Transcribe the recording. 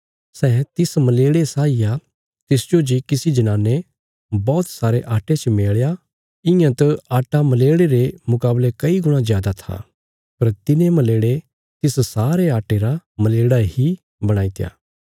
सै तिस मलेड़े साई आ तिसजो जे किसी जनाने बौहत सारे आट्टे च मेल़या इयां त आट्टा मलेड़े रे मुकावले कई गुणा जादा था पर तिने मलेड़े तिस सारे आट्टे रा मलेड़ा इ बणाईत्या